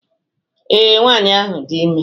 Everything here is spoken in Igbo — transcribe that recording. Ee, nwanyị ahụ dị ime